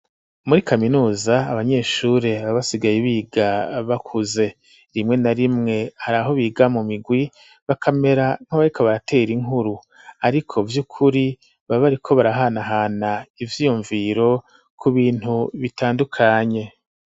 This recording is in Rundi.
Muri kaminuza abanyeshure babasigaye biga bakuze rimwe na rimwe hari aho biga mu migwi bakamera nk'abariko baratera inkuru, ariko vy' ukuri babariko barahanahana ivyiyumviro ku bintu bitandukanye.